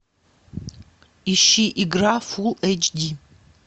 ищи игра фул эйч ди